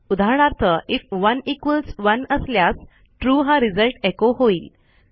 उदाहरणार्थ if 1 equals 1 असल्यास true हा रिझल्ट एचो होईल